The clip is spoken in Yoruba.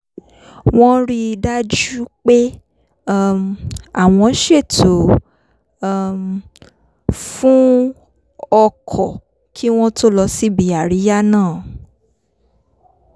wọ́n rí i dájú pé um àwọn ṣètò um fún o̩kò̩ kí wọ́n tó lọ síbi àríyá náà